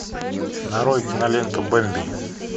нарой киноленту бэмби